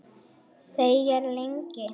Þegir lengi.